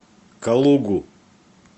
калугу